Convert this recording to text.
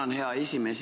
Hea juhataja!